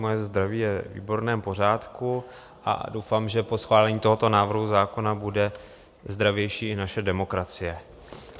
Moje zdraví je ve výborném pořádku a doufám, že po schválení tohoto návrhu zákona bude zdravější i naše demokracie.